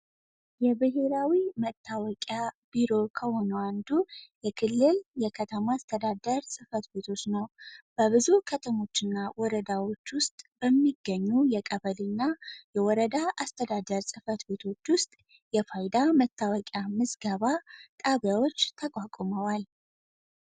የብሔራዊ መተዋወቂያ ቢሮ ከሆነው አንዱ የክልል የከተማ አስተዳደር ጽህፈት ቤቶች ነው ብዙ ወረዳዎችና ከተሞች ውስጥ የሚገኙ የቀበሌ የወረዳ አስተዳደር ጽህፈት ቤቶች ውስጥ የፋይዳ መተዋወቂያ ምዝገባ ጣቢያዎች ተቋቁመዋል።